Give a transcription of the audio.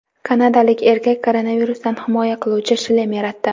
Kanadalik erkak koronavirusdan himoya qiluvchi shlem yaratdi .